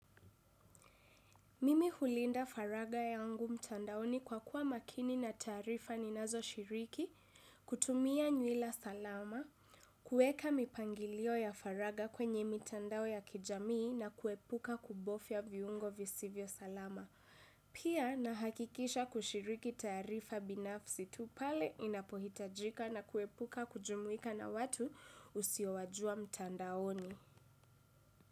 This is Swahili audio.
Mimi hulinda faragha yangu mtandaoni, kwa kuwa makini na taarifa ninazoshiriki, kutumia mila salama, kueka mipangilio ya faragha kwenye mtandao ya kijamii na kuepuka kubofya viungo visivyo salama. Pia nahakikisha kushiriki taarifa binafsi tu pale inapohitajika na kuepuka kujumuika na watu usiowajua mtandaoni.